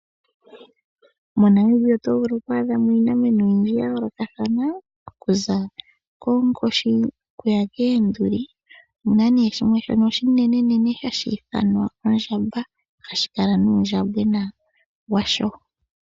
MoNamibia oto vulu oku adha mo iinamwenyo oyindji ya yoolokathana okuza konkoshi oku ya koonduli omuna nee shimwe shono oshinenenene hashi ithanwa ondjamba, hashi kala nuundjambwena washo.